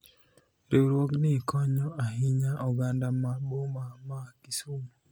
riwruogni konyo ahinya oganda ma boma ma Kisumo